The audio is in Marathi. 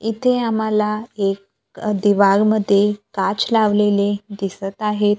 इथे आम्हाला एक दिवाल मध्ये काच लावलेले दिसत आहे.